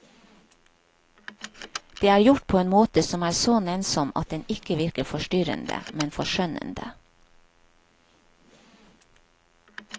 Det er gjort på en måte som er så nennsom at den ikke virker forstyrrende, men forskjønnende.